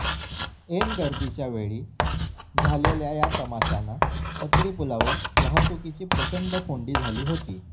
ऐन गर्दीच्या वेळी झालेल्या या तमाशानं पत्रीपुलावर वाहतुकीची प्रचंड कोंडी झाली होती